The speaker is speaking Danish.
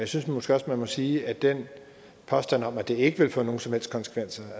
synes måske også man må sige at den påstand om at det ikke vil få nogen som helst konsekvenser